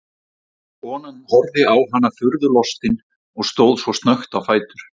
Konan horfði á hana furðu lostin og stóð svo snöggt á fætur.